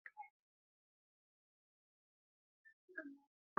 An ƙididdige wasu laƙabi bisa ga tarihin iyali, waɗanda aka yi ta zuwa tsararraki.